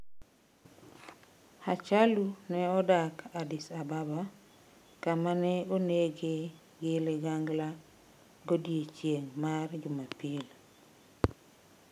Hachalu nodak Addis Ababa, kama ne onege gi ligangla godiechieng' mar Jumapil.